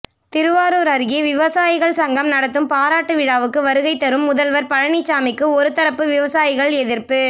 திருவாரூர் அருகே விவசாயிகள் சங்கம் நடத்தும் பாராட்டு விழாவுக்கு வருகை தரும் முதல்வர் பழனிசாமிக்கு ஒருதரப்பு விவசாயிகள் எதிர்ப்பு